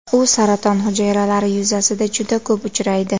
U saraton hujayralari yuzasida juda ko‘p uchraydi.